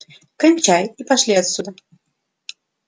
кончай и пошли отсюда